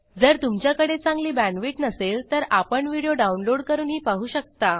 जर तुमच्याकडे चांगली बॅण्डविड्थ नसेल तर आपण व्हिडिओ डाउनलोड करूनही पाहू शकता